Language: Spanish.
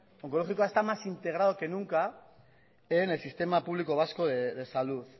onkologikoa está más integrado que nunca en el sistema público vasco de salud